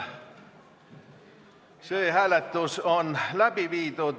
See hääletus on läbi viidud.